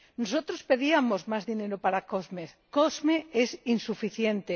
Nosotros pedíamos más dinero para COSME COSME es insuficiente.